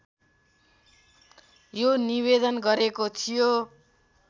यो निवेदन गरेको थियो